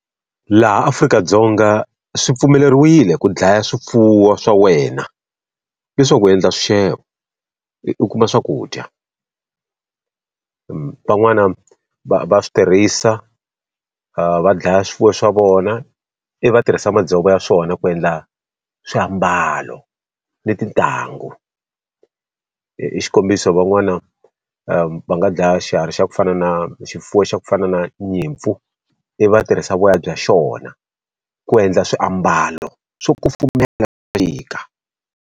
Laha Afrika-Dzonga swi pfumeleriwile ku dlaya swifuwo swa wena, leswaku u endla swixevo u kuma swakudya. van'wana va va swi tirhisa va dlaya swifuwo swa vona, ivi va tirhisa madzovo ya swona ku endla swiambalo ni tintangu. Xikombiso van'wana va nga dlaya xiharhi xa ku fana na xifuwo xa ku fana na nyimpfu, i va tirhisa voya bya xona ku endla swiambalo swo kufumela .